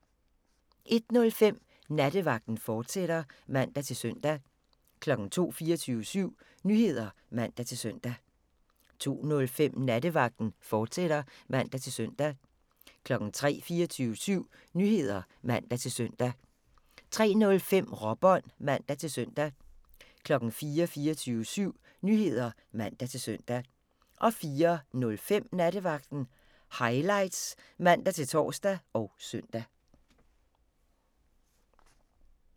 01:05: Nattevagten, fortsat (man-søn) 02:00: 24syv Nyheder (man-søn) 02:05: Nattevagten, fortsat (man-søn) 03:00: 24syv Nyheder (man-søn) 03:05: Råbånd (man-søn) 04:00: 24syv Nyheder (man-søn) 04:05: Nattevagten Highlights (man-tor og søn)